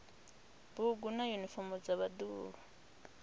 bugu na yunifomo dza vhaḓuhulu